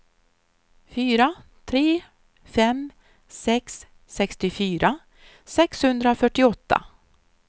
fyra tre fem sex sextiofyra sexhundrafyrtioåtta